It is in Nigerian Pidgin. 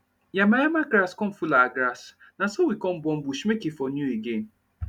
yama yama grass come full our grass na so we come burn bush make e for new again